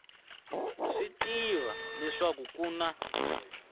swi tiva leswaku ku na